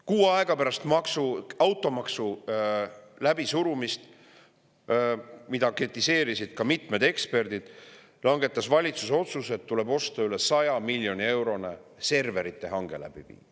Kuu aega pärast automaksu läbisurumist, mida kritiseerisid ka mitmed eksperdid, langetas valitsus otsuse, et tuleb läbi viia üle 100 miljoni eurone serverite hange.